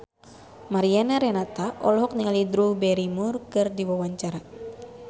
Mariana Renata olohok ningali Drew Barrymore keur diwawancara